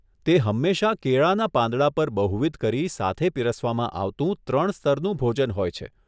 તે હંમેશા કેળાના પાંદડા પર બહુવિધ કરી સાથે પીરસવામાં આવતું ત્રણ સ્તરનું ભોજન હોય છે.